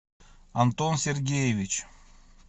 антон сергеевич